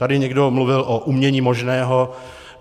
Tady někdo mluvil o umění možného.